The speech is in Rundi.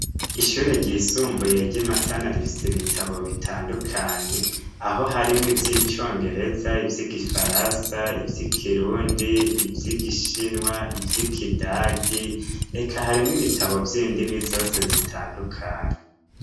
Ishure ryisumbuye ry'Imatana rifise ibitabo bitandukanye, aho harimwo ivy'icongereza, ivy'igifaransa, ivy'ikirundi, ivy'igishinwa, ivy'ikidagi, eka harimwo ibitabo vy'indimi zose zitandukanye.